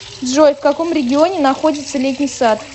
джой в каком регионе находится летний сад